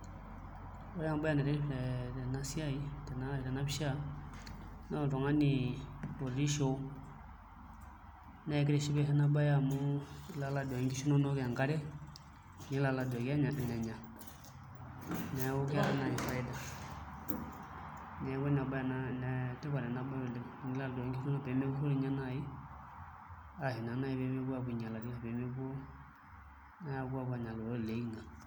Ore embaaye naitiship tenapisha naa oltung'ani otii shoo naa kitishipisho ena baye amu ilo aduaki nkishu inonok enkare nilo aduki enenya neeku keeta naai faida neeku enetipata ena baye oleng' pee mepurrori inye naai ashu naa naai apuo ainyialari ashu pee mepuo aanya iloopololi loltung'anak.